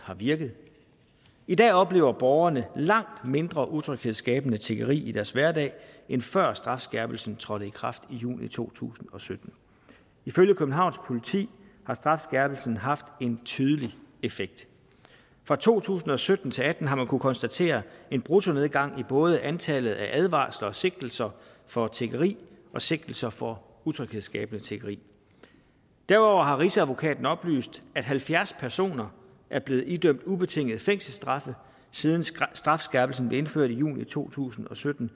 har virket i dag oplever borgerne langt mindre utryghedsskabende tiggeri i deres hverdag end før strafskærpelsen trådte i kraft i juni to tusind og sytten ifølge københavns politi har strafskærpelsen haft en tydelig effekt fra to tusind og sytten til atten har man kunnet konstatere en bruttonedgang i både antallet af advarsler og sigtelser for tiggeri og sigtelser for utryghedsskabende tiggeri derudover har rigsadvokaten oplyst at halvfjerds personer er blevet idømt ubetingede fængselsstraffe siden strafskærpelsen blev indført i juni to tusind og sytten